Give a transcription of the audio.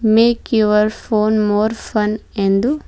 make your phone more fun ಎಂದು--